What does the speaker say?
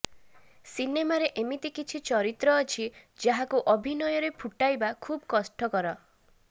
ସିନେମାରେ ଏମିତି କିଛି ଚରିତ୍ର ଅଛି ଯାହାକୁ ଅଭିନୟରେ ଫୁଟାଇବା ଖୁବ୍ କଷ୍ଠକର